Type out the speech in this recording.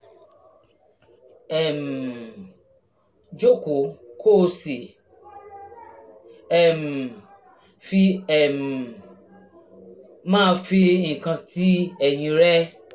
um jókòó kó o sì um fi um máa fi nǹkan ti ẹ̀yìn rẹ